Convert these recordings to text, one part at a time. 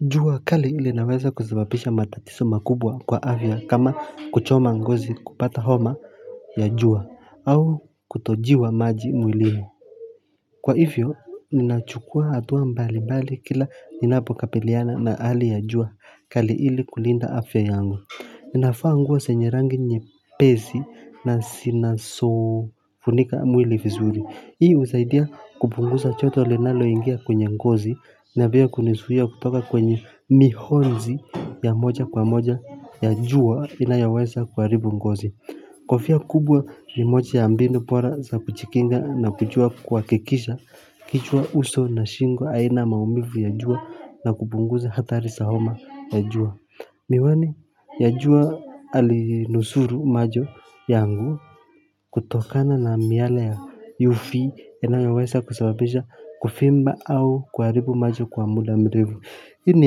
Jua kali ile inaweza kusababisha matatiso makubwa kwa afya kama kuchoma ngozi, kupata homa ya jua au kutojiwa maji mwilini. Kwa hivyo ninachukua hatua mbali mbali kila ninapokapiliana na hali ya jua kali ili kulinda afya yangu. Inafaa nguo senye rangi nyepesi na sinasofunika mwili vizuri. Hii husaidia kupungusa joto linaloingia kwenye ngozi na pia kunisuia kutoka kwenye mihonzi ya moja kwa moja ya jua inayoweza kuharibu ngozi. Kofia kubwa ni mocha ya mbinu pora za kuchikinga na kuchua kuhakikisha kichwa, uso na shingo haina maumivu ya jua na kupunguza athari za homa ya jua. Miwani ya jua alinusuru macho yangu kutokana na miale ya uv inayoweza kusababisha kuvimba au kuharibu macho kwa muda mrefu. Hii ni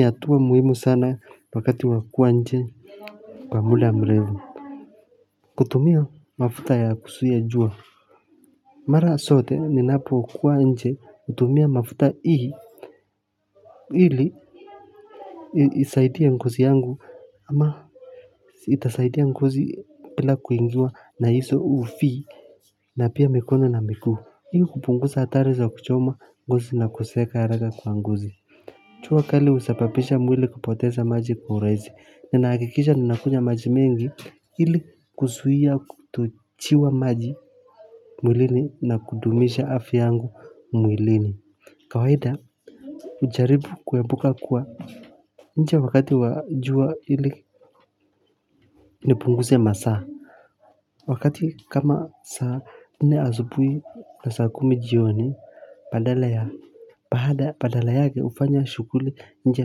hatua muhimu sana wakati wa kuwa nje kwa mula mrevu. Kutumia mafuta ya kusuia jua. Mara sote ninapokuwa nje hutumia mafuta hii, ili isaidie ngozi yangu ama itasaidia ngozi bila kuingiwa na iso uv na pia mikono na miguu. Hii hupunguza hatari za kuchoma ngozi na kuseeka haraka kwa ngozi. Chua kali husapapisha mwili kupoteza maji kwa urahisi. Ninahakikisha ninakunywa maji mengi ili kusuia kutuchiwa maji mwilini na kudumisha afya yangu mwilini. Kawaida, hujaribu kuepuka kuwa nje wakati wa jua ili nipunguze masaa. Wakati kama sa nne asubui na saa kumi jioni badala ya. Baada, padala yake hufanya shughuli nje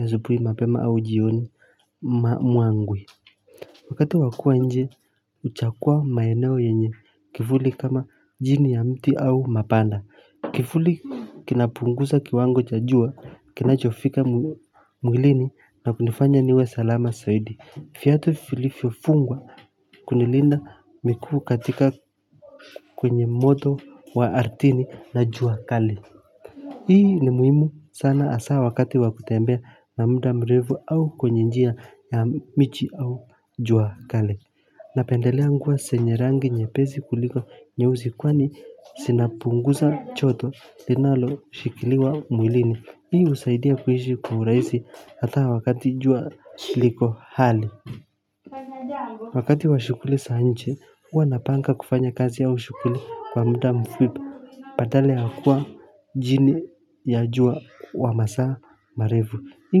asubuhi mapema au jioni ma mwangwe. Wakati wa kua nje, huchagua maeneo yenye kivuli kama jini ya mti au mapanda. Kifuli kinapunguza kiwango cha jua kinachofika mwilini na kunifanya niwe salama saidi. Fiatu filifyofungwa kunilinda mikuu katika kwenye moto wa arthini na jua kali. Hii ni muhimu sana hasaa wakati wa kutembea na muda mrefu au kwenye njia ya michi au jua kale. Napendelea nguo senye rangi nyepezi kuliko nyeuzi kwani sinapunguza choto linaloshikiliwa mwilini. Hii husaidia kuishi kwa urahisi hata wakati jua liko hali. Wakati wa shughuli sa nche, huwa napanga kufanya kazi au shughuli kwa mda mfupi padala ya kuwa jini ya jua wa masaa marevu. Hii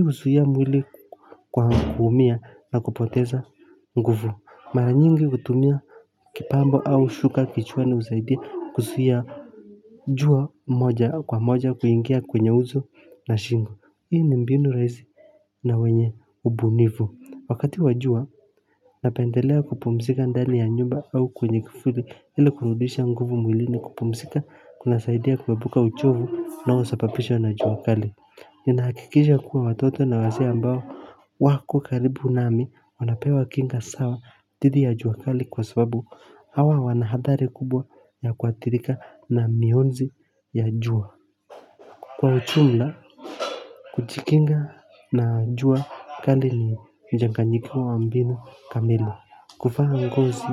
husuia mwili kwa kuumia na kupoteza nguvu. Mara nyingi hutumia kipambo au shuka kichwani husaidia kusuia jua moja kwa moja kuingia kwenye uso na shingo. Hii ni mbinu rahisi na wenye ubunivu. Wakati wa jua, napendelea kupumzika ndani ya nyumba au kwenye kifuli ili kurudisha nguvu mwilini. Kupumzika kunasaidia kuepuka uchovu unaosapapishwa na jua kali. Ninahakikisha kuwa watoto na wazee ambao wako karibu nami wanapewa kinga sawa dhidi ya jua kali kwa sababu hawa wana hadhari kubwa ya kuathirika na mionzi ya jua. Kwa uchumla, kuchikinga na jua kali ni mchanganyikiwa wa mbinu kamili. Kuvaa ngozi.